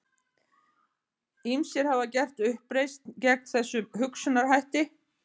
Ýmsir hafa gert uppreisn gegn þessum hugsunarhætti.